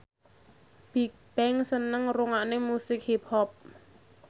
Bigbang seneng ngrungokne musik hip hop